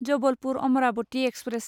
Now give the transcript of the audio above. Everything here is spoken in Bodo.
जबलपुर अमरावती एक्सप्रेस